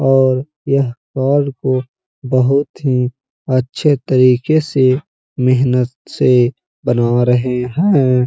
और यह पहाड़ पे बोहोत ही अच्छे तरीके से मेहनत से बना रहे हैं।